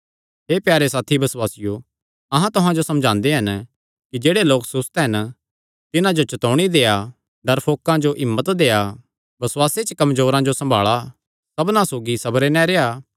हे प्यारे साथी बसुआसियो अहां तुहां जो समझांदे हन कि जेह्ड़े लोक सुस्त हन तिन्हां जो चतौणी देआ डरफोकां जो हिम्मत देआ बसुआसे च कमजोरेयां जो सम्भाल़ा सबना सौगी सबरे नैं रेह्आ